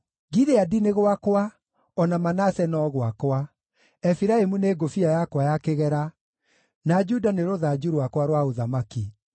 Gileadi nĩ gwakwa, o na Manase no gwakwa; Efiraimu nĩ ngũbia yakwa ya kĩgera, na Juda nĩ rũthanju rwakwa rwa ũthamaki.